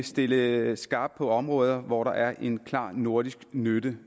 stille skarpt på områder hvor der er en klar nordisk nytte